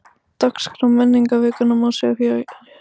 Dagskrá menningarvikunnar má sjá hér